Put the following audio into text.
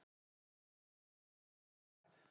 Ekki á þeirra vakt.